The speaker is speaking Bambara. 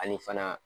Ani fana